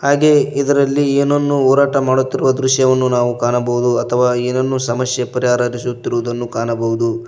ಹಾಗೆಯೇ ಇದರಲ್ಲಿ ಏನನ್ನು ಹೋರಾಟ ಮಾಡುತ್ತಿರುವ ದೃಶ್ಯವನ್ನು ನಾವು ಕಾಣಬಹುದು ಅಥವಾ ಏನನ್ನು ಸಮಸ್ಯೆ ಪರಿಹಾರ ಹರಿಸಿತ್ತಿರುವುದನ್ನು ಕಾಣಬಹುದು.